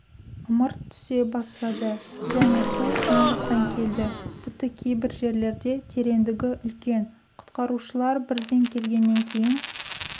ымырт түсе бастады және су жан-жақтан келді тіпті кейбір жерлерде тереңдігі үлкен құтқарушылар бірден келгеннен кейін